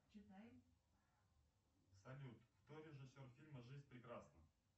салют кто режиссер фильма жизнь прекрасна